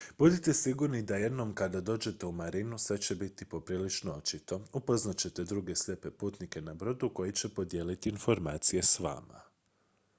budite sigurni da jednom kada dođete u marinu sve će biti poprilično očito upoznat ćete druge slijepe putnike na brodu koji će podijeliti informacije s vama